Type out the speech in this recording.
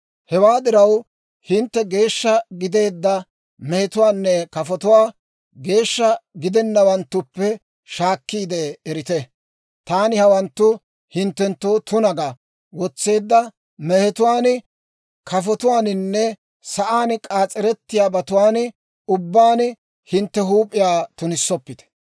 « ‹Hewaa diraw hintte geeshsha gideedda mehetuwaanne kafotuwaa geeshsha gidennawanttuppe shaakkiide erite. Taani hawanttu hinttenttoo tuna ga wotseedda mehetuwaan, kafotuwaaninne sa'aan k'aas'erettiyaabatuwaan ubbaan hintte huup'iyaa tunissoppite.